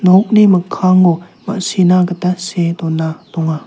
nokni mikkango ma·sina gita see dona donga.